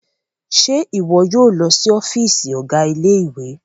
Ṣe iwọ yóò lọ sí ọfiisi ọga ilé-ìwé?